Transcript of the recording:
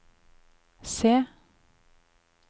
se